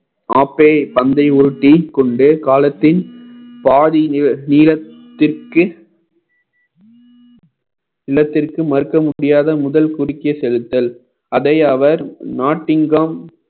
பந்தை உருட்டிக் கொண்டே காலத்தின் பாதி நீள~ நீளத்திற்கு இல்லத்திற்கு மறுக்க முடியாத முதல் குறுக்கே செலுத்தல் அதை அவர்